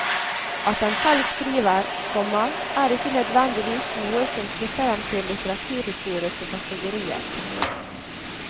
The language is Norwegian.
At han selv skriver, komma er ikke nødvendigvis noe som knytter ham til litteraturhistoriske kategorier. punktum